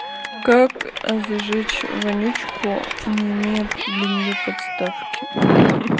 как зажечь вонючку не имея для неё подставки